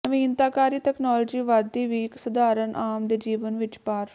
ਨਵੀਨਤਾਕਾਰੀ technology ਵਧਦੀ ਵੀ ਇੱਕ ਸਧਾਰਨ ਆਮ ਦੇ ਜੀਵਨ ਵਿੱਚ ਪਾਰ